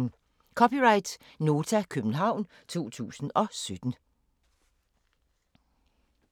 (c) Nota, København 2017